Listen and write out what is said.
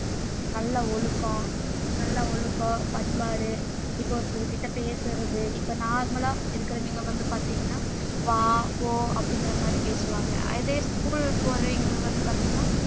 நல்ல ஒழுக்கம் நல்ல ஒழுக்கம் பண்பாடு இப்போ ஒருத்தர் கிட்ட பேசுறது இப்ப normal லா இருக்கிறவங்க வந்து பார்த்தீங்கன்னா வா போ அப்படிங்கிற மாதிரி பேசுவாங்க அதே school போறவங்க வந்து பார்த்தீங்கன்னா